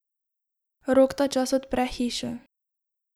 Rok tačas odpre hišo.